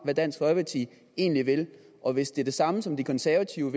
hvad dansk folkeparti egentlig vil og hvis det er det samme som de konservative